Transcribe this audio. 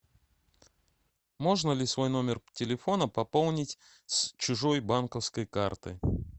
можно ли свой номер телефона пополнить с чужой банковской карты